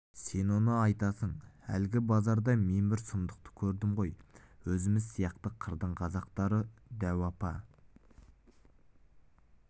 сен оны айтасың әлгі базарда мен бір сұмдықты көрдім ғой өзіміз сияқты қырдың қазақтары дәу апа